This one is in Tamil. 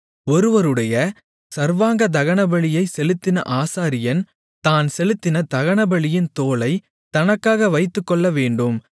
ஒருவருடைய சர்வாங்க தகனபலியைச் செலுத்தின ஆசாரியன் தான் செலுத்தின தகனபலியின் தோலைத் தனக்காக வைத்துக்கொள்ளவேண்டும்